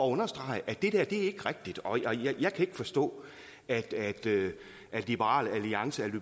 understrege at det der ikke er rigtigt og jeg kan ikke forstå at liberal alliance er